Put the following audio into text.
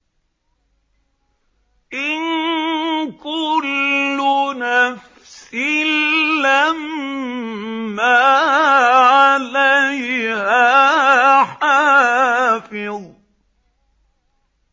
إِن كُلُّ نَفْسٍ لَّمَّا عَلَيْهَا حَافِظٌ